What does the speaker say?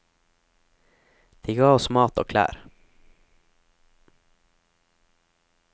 De ga oss mat og klær.